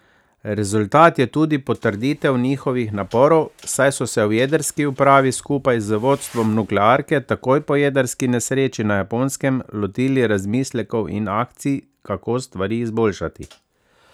Rezultat je tudi potrditev njihovih naporov, saj so se v jedrski upravi skupaj z vodstvom nuklearke takoj po jedrski nesreči na Japonskem lotili razmislekov in akcij, kako stvari izboljšati.